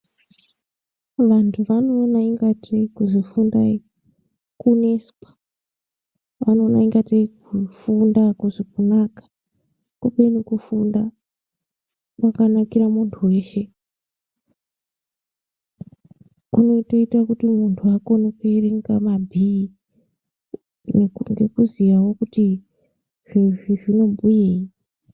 Vantu vanoona ingatei kuzi fundai kuneswa vanoona ingatei kufunda hakusi kuvaka kubeni kufunda kwakanakira muntu weshe kunotoite kuti muntu akone kuwerenga mabhii nekuziyawo kuti zviro izvi zvinobhuyei.